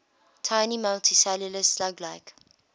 tiny multicellular slug like